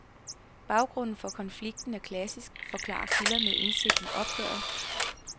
Baggrunden for konflikten er klassisk, forklarer kilder med indsigt i opgøret.